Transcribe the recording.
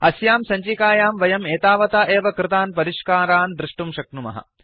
अस्यां सञ्चिकायां वयं एतावता एव कृतान् परिष्कारान् दृष्टुं शक्नुमः